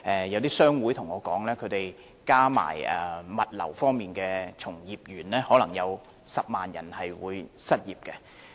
有些商會告訴我，如果加上物流業的從業員，可能將有10萬人會因而失業。